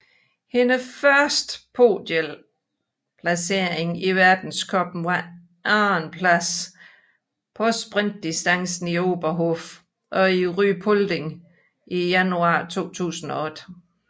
Hendes første podieplacering i verdenscuppen var andenpladsen på sprintdistancen i Oberhof og i Ruhpolding i januar 2008